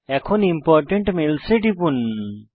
এখন important mails এ টিপুন